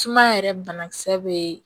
Suma yɛrɛ banakisɛ be